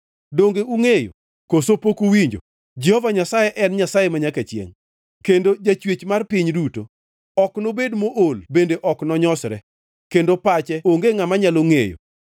Donge ungʼeyo? Koso pok uwinjo? Jehova Nyasaye en Nyasaye manyaka chiengʼ kendo Jachwech mar piny duto. Ok nobed mool bende ok nonyosre, kendo pache onge ngʼama nyalo ngʼeyo.